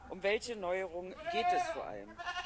Um welche Neuerungen geht es vor allem?